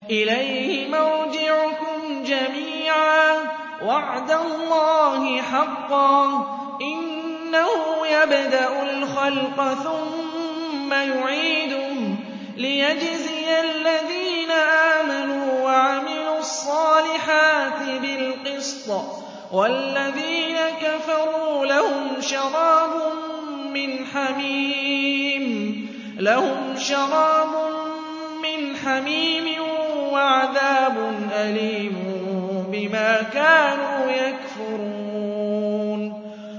إِلَيْهِ مَرْجِعُكُمْ جَمِيعًا ۖ وَعْدَ اللَّهِ حَقًّا ۚ إِنَّهُ يَبْدَأُ الْخَلْقَ ثُمَّ يُعِيدُهُ لِيَجْزِيَ الَّذِينَ آمَنُوا وَعَمِلُوا الصَّالِحَاتِ بِالْقِسْطِ ۚ وَالَّذِينَ كَفَرُوا لَهُمْ شَرَابٌ مِّنْ حَمِيمٍ وَعَذَابٌ أَلِيمٌ بِمَا كَانُوا يَكْفُرُونَ